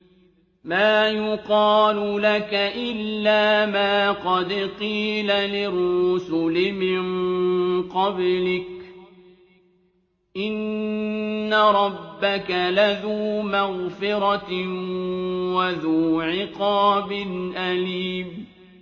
مَّا يُقَالُ لَكَ إِلَّا مَا قَدْ قِيلَ لِلرُّسُلِ مِن قَبْلِكَ ۚ إِنَّ رَبَّكَ لَذُو مَغْفِرَةٍ وَذُو عِقَابٍ أَلِيمٍ